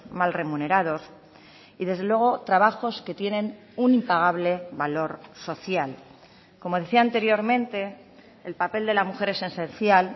mal remunerados y desde luego trabajos que tienen un impagable valor social como decía anteriormente el papel de la mujer es esencial